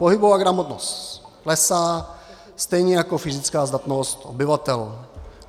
Pohybová gramotnost klesá stejně jako fyzická zdatnost obyvatel.